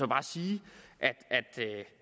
bare sige at det